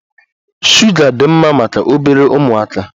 Shuga dị mma maka obere ụmụaka.